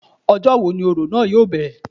Ọjọ́ wo ni òrò náà yóò bẹ̀rẹ̀